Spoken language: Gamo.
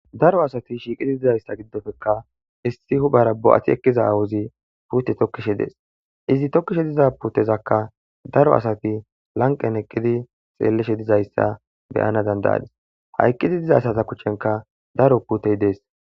daro asati shiiqidi dizayssa giddofekka issi huphara bo'ati ekkiza aawuzi pute tokkishe dees izi tokkishe diza putezakka daro asati lanqen eqqidi xeelleshe dizayssa beyana dandayadis ha eqqidi diza assata kushshenka daro putey dees